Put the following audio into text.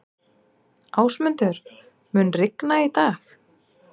Ásmundur, mun rigna í dag?